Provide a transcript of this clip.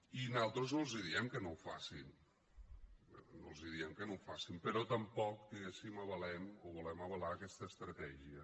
i nosaltres no els diem que no ho facin no els diem que no ho facin però tampoc diguéssim avalem o volem avalar aquesta estratègia